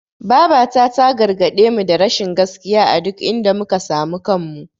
Babata ta gargaɗemu da rashin gaskiya a duk inda muka samu kanmu.